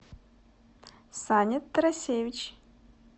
саня тарасевич